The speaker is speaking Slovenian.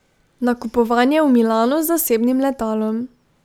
Nakupovanje v Milanu z zasebnim letalom ...